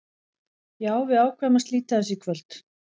Já, við ákváðum að slíta þessu í kvöld.